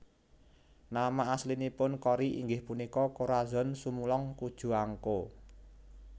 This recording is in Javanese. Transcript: Nama aslinipun Cory inggih punika Corazon Sumulong Cojuangco